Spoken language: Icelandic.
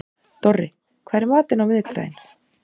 Dorri, hvað er í matinn á miðvikudaginn?